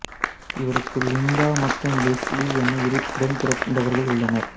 இவருக்கு லிண்டா மற்றும் லெஸ்லீ என இரு உடன்பிறந்தவர்கள் உள்ளனர்